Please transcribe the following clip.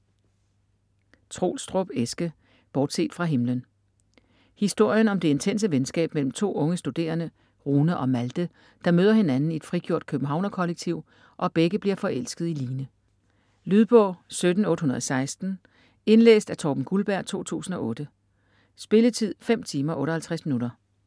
Troelstrup, Eske: Bortset fra himlen Historien om det intense venskab mellem to unge studerende, Rune og Malthe, der møder hinanden i et frigjort københavnerkollektiv og begge bliver forelskede i Line. Lydbog 17816 Indlæst af Torben Gulberg, 2008. Spilletid: 5 timer, 58 minutter.